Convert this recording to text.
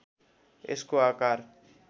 यसको आकार